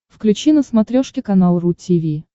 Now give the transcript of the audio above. включи на смотрешке канал ру ти ви